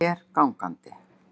Ég fer gangandi.